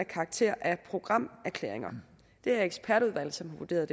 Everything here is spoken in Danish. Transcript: karakter af programerklæringer det er ekspertudvalg som har vurderet